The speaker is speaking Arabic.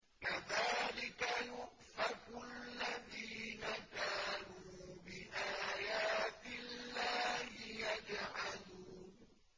كَذَٰلِكَ يُؤْفَكُ الَّذِينَ كَانُوا بِآيَاتِ اللَّهِ يَجْحَدُونَ